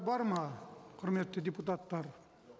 бар ма құрметті депутаттар